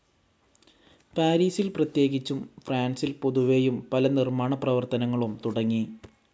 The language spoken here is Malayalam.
പാരീസിൽ പ്രത്യേകിച്ചും ഫ്രാൻസിൽ പൊതുവേയും പല നിർമ്മാണപ്രവർത്തനങ്ങളും തുടങ്ങി.